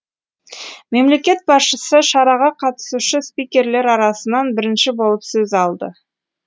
мемлекет басшысы шараға қатысушы спикерлер арасынан бірінші болып сөз алды